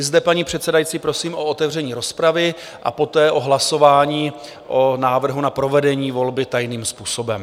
I zde, paní předsedající, prosím o otevření rozpravy a poté o hlasování o návrhu na provedení volby tajným způsobem.